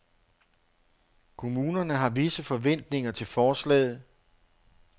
Kommunerne har visse forventninger til forslaget.